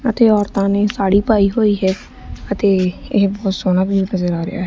ਅਤੇ ਔਰਤਾਂ ਨੇ ਸਾੜੀ ਪਾਈ ਹੋਈ ਹੈ ਅਤੇ ਇਹ ਬਹੁਤ ਸੋਹਣਾ ਵਿਊ ਨਜ਼ਰ ਆ ਰਿਹਾ ਹੈ।